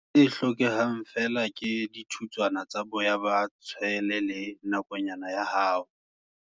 Se hlokahalang feela ke dithutswana tsa boya ba tshwele le nakonyana ya hao.